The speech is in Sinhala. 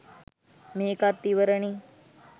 මේකත් ඉවරනේ